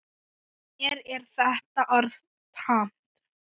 Mér er þetta orð tamt.